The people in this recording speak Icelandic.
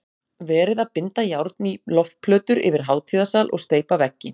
Verið að binda járn í loftplötur yfir hátíðasal og steypa veggi